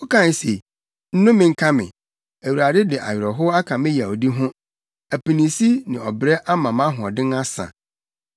Wokae se, ‘Nnome nka me! Awurade de awerɛhow aka me yawdi ho; apinisi ne ɔbrɛ ama mʼahoɔden asa.’